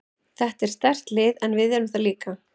Þetta er sterkt lið en við erum það líka.